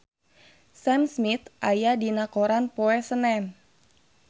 Sam Smith aya dina koran poe Senen